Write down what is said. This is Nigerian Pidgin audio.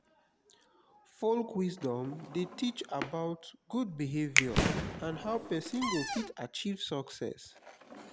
folk wisdom de teach about good behavior and how persin go fit achieve success